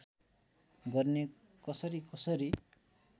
गर्ने कसरी कसरी